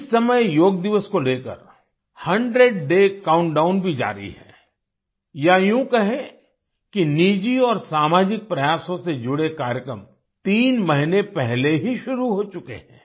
इस समय योग दिवस को लेकर 100 डे काउंटडाउन भी जारी है या यूँ कहें कि निजी और सामाजिक प्रयासों से जुड़े कार्यक्रम तीन महीने पहले ही शुरू हो चुके हैं